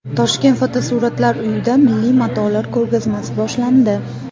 Toshkent Fotosuratlar uyida milliy matolar ko‘rgazmasi boshlandi.